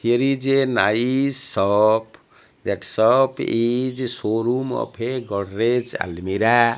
here is a nice shop that shop is showroom of godrej almirah.